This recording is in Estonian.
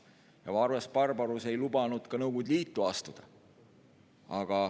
Ja Vares-Barbarus ei lubanud ka Nõukogude Liitu astuda.